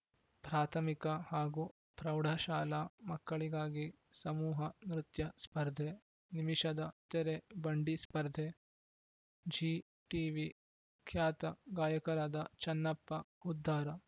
ಪ್ರಾಥಮಿಕ ಹಾಗೂ ಪ್ರೌಢಶಾಲಾ ಮಕ್ಕಳಿಗಾಗಿ ಸಮೂಹ ನೃತ್ಯ ಸ್ಪರ್ಧೆ ನಿಮಿಷದ ತೆರೆ ಬಂಡಿ ಸ್ಪರ್ಧೆ ಝೀ ಟಿವಿ ಖ್ಯಾತ ಗಾಯಕರಾದ ಚನ್ನಪ್ಪ ಹುದ್ದಾರ